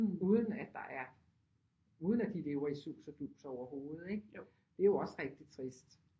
Uden at der er uden at de lever i sus og dus overhovedet ikke det er jo også rigtig trist